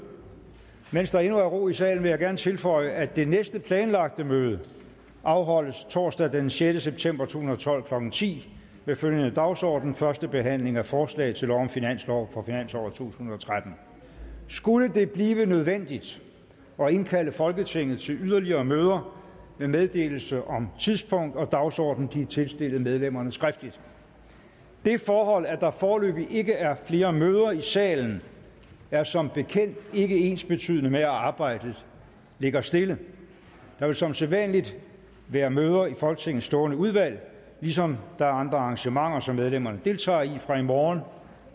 mens der endnu er ro i salen vil jeg gerne tilføje at det næste planlagte møde afholdes torsdag den sjette september to tusind og tolv klokken ti med følgende dagsorden første behandling af forslag til lov om finanslov for finansåret to tusind og tretten skulle det blive nødvendigt at indkalde folketinget til yderligere møder vil meddelelse om tidspunkt og dagsorden blive tilstillet medlemmerne skriftligt det forhold at der foreløbig ikke er flere møder i salen er som bekendt ikke ensbetydende med at arbejdet ligger stille der vil som sædvanlig være møder i folketingets stående udvalg ligesom der er andre arrangementer som medlemmerne deltager i fra i morgen